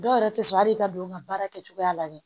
Dɔw yɛrɛ tɛ sɔn hali i ka don ka baara kɛcogoya la dɛ